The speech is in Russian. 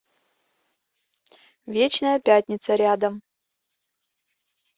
вечная пятница рядом